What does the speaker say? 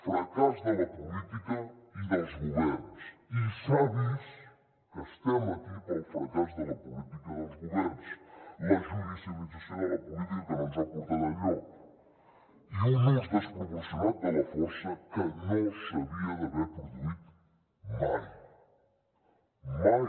fracàs de la política i dels governs i s’ha vist que estem aquí pel fracàs de la política dels governs la judicialització de la política que no ens ha portat enlloc i un ús desproporcionat de la força que no s’havia d’haver produït mai mai